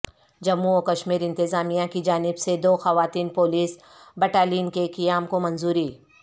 جموں و کشمیر انتظامیہ کی جانب سے دو خواتین پولیس بٹالین کے قیام کو منظوری